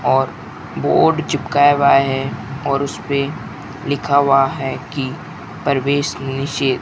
और बोर्ड चिपकाया हुआ है और उसपे लिखा हुआ है कि प्रवेश निषेध --